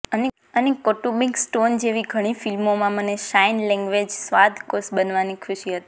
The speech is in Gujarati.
અને કૌટુંબિક સ્ટોન જેવી ઘણી ફિલ્મોમાં મને સાઇન લેંગ્વેજ સંવાદ કોચ બનવાની ખુશી હતી